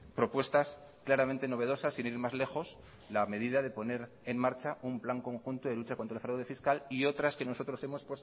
propuestas claramente novedosas sin ir más lejos la medida de poner en marcha un plan conjunto de lucha contra el fraude fiscal y otras que nosotros hemos